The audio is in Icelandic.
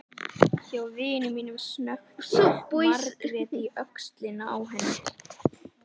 Hjá vini mínum, snökti Margrét í öxlina á henni.